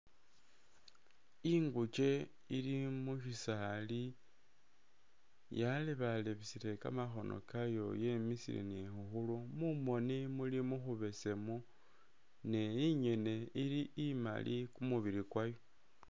Ingukye ili mubisali yalebalebesele kamakhono kayo yemisile ni khukhuru mumoni muli mukhubesemu ne inyene ili imali kumubili kwayo.